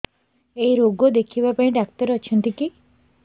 ଏଇ ରୋଗ ଦେଖିବା ପାଇଁ ଡ଼ାକ୍ତର ଅଛନ୍ତି କି